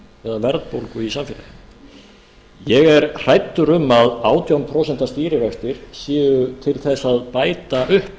eða verðbólgu í samfélaginu ég er hræddur um að átján prósent stýrivextir séu til þess að bæta upp